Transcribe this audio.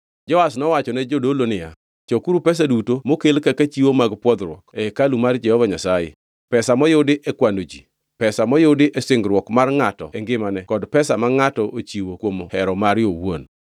Joash nowachone jodolo niya, “Chokuru pesa duto mokel kaka chiwo mag pwodhruok e hekalu mar Jehova Nyasaye; pesa moyudi e kwano ji, pesa moyudi e singruok mar ngʼato e ngimane kod pesa ma ngʼato ochiwo kuom hero mare owuon.